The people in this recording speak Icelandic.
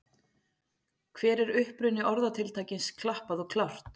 Hver er uppruni orðatiltækisins klappað og klárt?